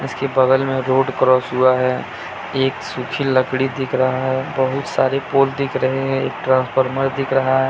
इसके बगल में रोड क्रॉस हुआ है एक सुखी लकड़ी दिख रहा हैं बहुत सारे पोल दिख रहे है एक ट्रांसफार्मर दिख रहा हैं।